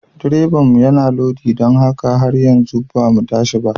Direbanmu yana lodi don haka har yanzu ba mu tashi ba.